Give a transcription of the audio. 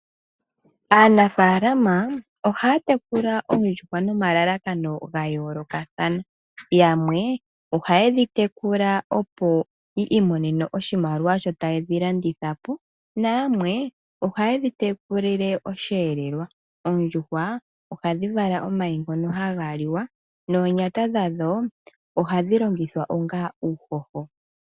Aanafalama oha ya tekula oondjuhwa nomalalakano ga yoolokathana yamwe oha ye dhi tekula opo yi imonene oshimaliwa sho taye dhi landithapo na yamwe oha ye dhi tekulile osheelelwa. Oondjuhwa oha dhi vala omayi ngono haga liwa noonyata dhadho oha dhi longithwa onga uuhoho.